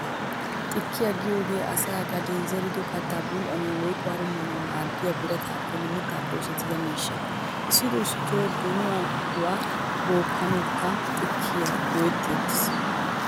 Xikkiya giyogee asay gaden zerido kattaa bul'anawu woykko harummanawu maaddiya, birataappenne mittaappe oosettiya miishsha. Issito issito donuwaaduwaa bookkanawukka xikkiya go'ettettees.